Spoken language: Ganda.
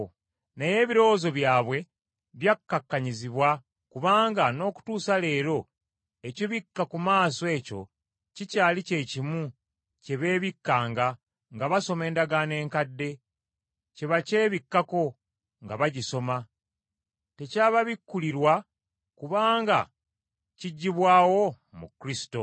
Naye ebirowoozo byabwe byakkakkanyizibwa kubanga n’okutuusa leero ekibikka ku maaso ekyo kikyali kye kimu kye beebikkanga nga basoma endagaano enkadde, kye bakyebikako nga bagisoma, tekyababikkulirwa, kubanga kiggyibwawo mu Kristo.